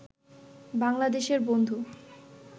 বাংলাদেশের বন্ধু